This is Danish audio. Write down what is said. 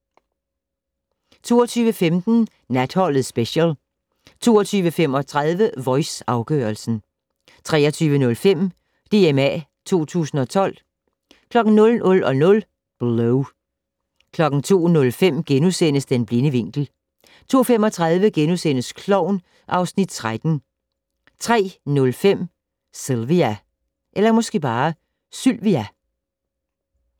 22:15: Natholdet Special 22:35: Voice - afgørelsen 23:05: DMA 2012 00:00: Blow 02:05: Den blinde vinkel * 02:35: Klovn (Afs. 13)* 03:05: Sylvia